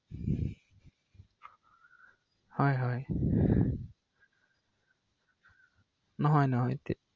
ধৰক মনত আপচোচ হৈ আছিলে ৷মনত অলপ অপচোচ হৈ আছিলে কিজানিবা মই একান্টটো লৈ যাম বুলি ক’লে তেওঁলোকে বেয়াও পাব পাৰে ৷এজন কাষ্টমাৰ কমি গ’লেও অলপ সেই হয় দিয়কচোন ৷